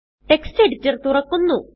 text editor തുറക്കുന്നു